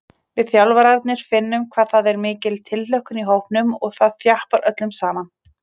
Við þjálfararnir finnum hvað það er mikil tilhlökkun í hópnum og það þjappar öllum saman.